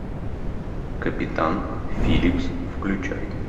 капитан филлипс включай